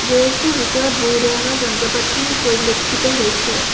Garage টোৰ ভিতৰত বহু ধৰণৰ যন্ত্ৰ-পাত্ৰি পৰিলক্ষিত হৈছে।